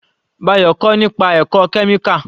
Bayo kọ́ nípa ẹ̀kọ́ kẹ́míkà